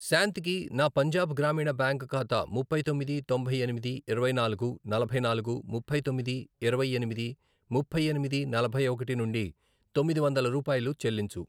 శాంతికి నా పంజాబ్ గ్రామీణ బ్యాంక్ ఖాతా ముప్పై తొమ్మిది, తొంభై ఎనిమిది, ఇరవై నాలుగు, నలభై నాలుగు, ముప్పై తొమ్మిది, ఇరవై ఎనిమిది, ముప్పై ఎనిమిది, నలభై ఒకటి, నుండి తొమ్మిది వందలు రూపాయలు చెల్లించు.